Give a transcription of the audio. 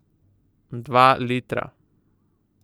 Dva litra.